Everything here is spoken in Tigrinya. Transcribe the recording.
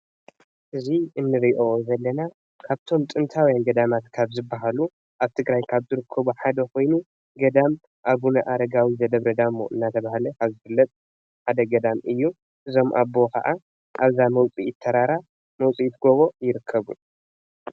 እዙይ እንርእዮ ዘለና ካብቶም ጥንታዊያን ገዳማት ካብ ዝባሃሉ ኣብ ትግራይ ካብ ዝርከቡ ሓደ ኮይኑ ገዳም ኣቡነ ኣረጋዊ ዘደብረ ዳሞ እናተሃለ ከምዝፍለጥ ሓደ ገዳም ኮይኑ እዞም ኣቦ ከዓ ኣብዛ መውፂኢት ተራራ መውፅኢት ጎቦ ይርከቡ።